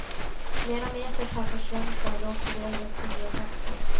Flera meter pappersremsa låg på golvet på nyårsafton.